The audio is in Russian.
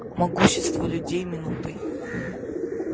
могущество людей минутой